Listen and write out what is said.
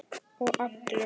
Og allir.